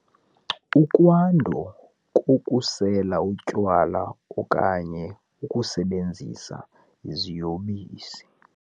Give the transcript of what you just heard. Ukwanda kokusela utywala okanye ukusebenzisa iziyobisi.